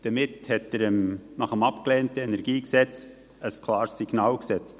Damit hat er nach dem abgelehnten KEnG ein klares Signal ausgesendet.